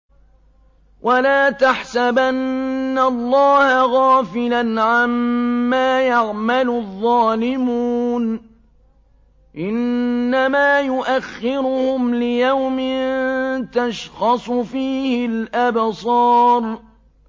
وَلَا تَحْسَبَنَّ اللَّهَ غَافِلًا عَمَّا يَعْمَلُ الظَّالِمُونَ ۚ إِنَّمَا يُؤَخِّرُهُمْ لِيَوْمٍ تَشْخَصُ فِيهِ الْأَبْصَارُ